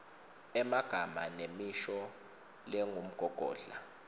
emagama nemisho lengumgogodla